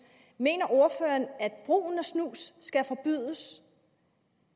mener ordføreren at brugen af snus skal forbydes